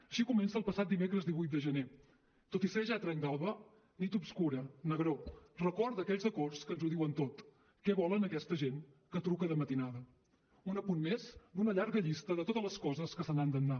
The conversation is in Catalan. així comença el passat dimecres divuit de gener tot i ser ja ha trenc d’alba nit obscura negror record d’aquells acords que ens ho diuen tot què volen aquesta gent que truca de matinada un apunt més d’una llarga llista de totes les coses que se n’han d’anar